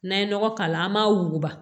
N'an ye nɔgɔ k'a la an b'a wuguba